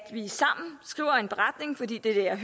det her er